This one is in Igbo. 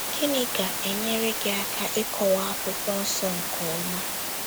Gịnị ga - enyere gị aka ịkọwa Akwụkwọ Nsọ nke ọma?